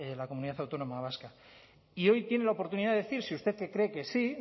la comunidad autónoma vasca y hoy tiene la oportunidad de decir si usted cree que sí